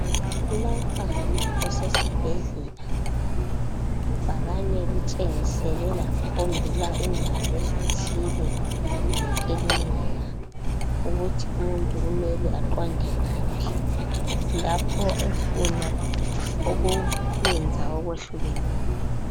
Lapha kusesibhedlela ibhakane litshengisele lakhombela indawo ezithile zekilinika ukuthi umuntu kumele aqonde ngaphi lapho ufuna ukwenza okwehlukeneyo.